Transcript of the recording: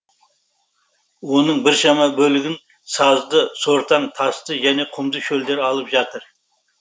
оның біршама бөлігін сазды сортаң тасты және құмды шөлдер алып жатыр